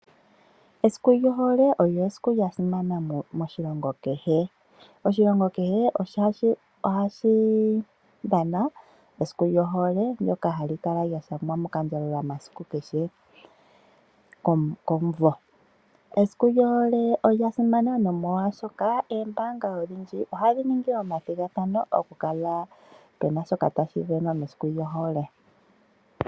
Esiku lyohole olyo esiku lyasimana moshilongo keshe ,oshilongo kehe ohashi dhana esiku lyohole ndyoka halikala lyashangwa mokandjalula masiku keshe komvo .Esiku lyohole olya simana, nomolwaashoka eembanga odhindji ohadhi ningi omathigathano okukala pena shoka tashivenwa mesiku lyohole .